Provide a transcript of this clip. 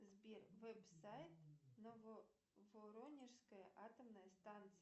сбер вебсайт нововоронежская атомная станция